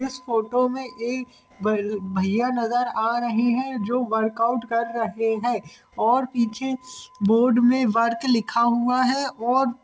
इस फोटो मे एक भ-भैया नजर आ रहे है जो वर्काउट कर रहे है और पीछे बोर्ड मे वर्क लिखा हुआ है और ---